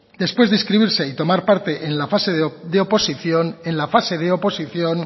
después de inscribirse y tomar parte en la fase de oposición en la fase de oposición